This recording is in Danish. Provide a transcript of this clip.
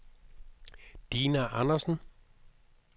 Dina Andersen